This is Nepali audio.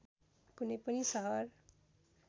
कुनै पनि सहर